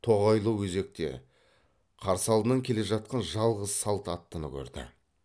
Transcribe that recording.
тоғайлы өзекте қарсы алдынан келе жатқан жалғыз салт аттыны көрді